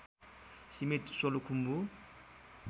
सीमित सोलुखुम्बु